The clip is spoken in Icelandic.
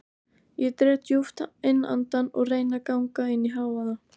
Ég dreg djúpt inn andann og reyni að ganga inn í hávaða